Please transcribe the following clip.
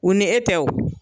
O ni e tɛ o.